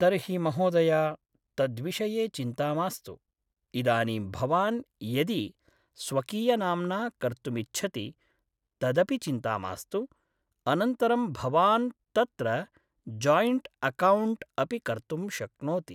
तर्हि महोदय तद्विषये चिन्ता मास्तु इदानीं भवान् यदि स्वकीयनाम्ना कर्तुमिच्छति तदपि चिन्ता मास्तु अनन्तरं भवान् तत्र जोयिण्ट् अकौण्ट् अपि कर्तुं शक्नोति